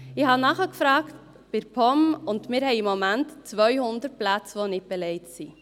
Ich habe bei der POM nachgefragt, und wir haben im Moment 200 Plätze, die nicht belegt sind.